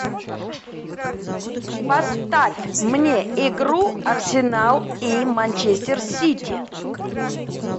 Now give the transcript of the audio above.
поставь мне игру арсенал и манчестер сити